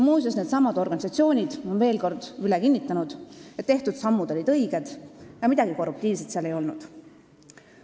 Muuseas, needsamad organisatsioonid on veel kord üle kinnitanud, et tehtud sammud olid õiged ja midagi korruptiivset seal ei olnud.